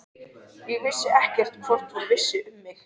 Ég vissi ekkert hvort hún vissi um mig.